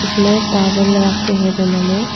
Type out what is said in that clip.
इसमें तावेल रखे हैं दोनों में--